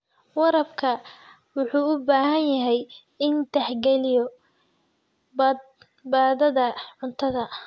Waraabka wuxuu u baahan yahay inuu tixgeliyo badbaadada cuntada.